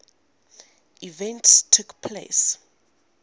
events took place